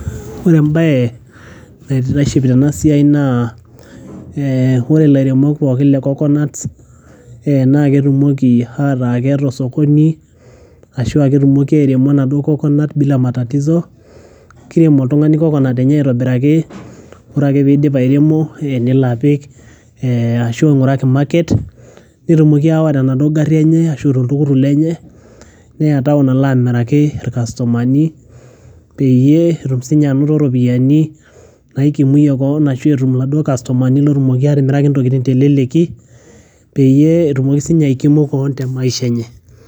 Ore embaye naitiship tena siai naa ee ore ilairemok pookin le coconut ee naa ketumoki ataa keeta osokoni ashu ketumoki airemo enaduo coconut bila matatizo, kirem oltung'ani coconut enye aitobiraki ore ake piidip airemo nelo apik ashu ing'uraki market netumoki ayawa tenaduo gari enye arashu toltukutuk lenye neya town alo amiraki ir customer ni peyie etum siinye anoto ropiani naikumiye keon arashu etum iladuo customer ni lootumoki atimiraki ntokitin te leleki peyie etumi siinye aikimu keon te maisha enye.